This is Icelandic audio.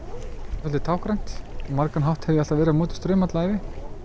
svolítið táknrænt á margan hátt hef ég verið á móti straumnum alla ævi